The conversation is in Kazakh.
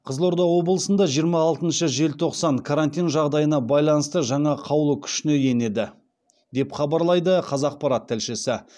қызылорда облысында жиырма алтыншы желтоқсаны карантин жағдайына байланысты жаңа қаулы күшіне енеді деп хабарлайды қазақпарат тілшісі